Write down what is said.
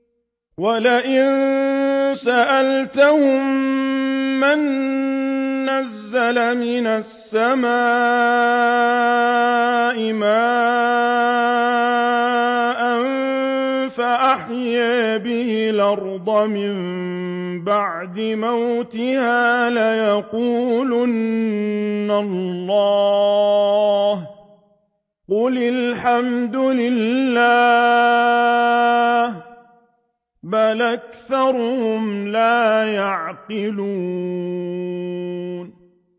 وَلَئِن سَأَلْتَهُم مَّن نَّزَّلَ مِنَ السَّمَاءِ مَاءً فَأَحْيَا بِهِ الْأَرْضَ مِن بَعْدِ مَوْتِهَا لَيَقُولُنَّ اللَّهُ ۚ قُلِ الْحَمْدُ لِلَّهِ ۚ بَلْ أَكْثَرُهُمْ لَا يَعْقِلُونَ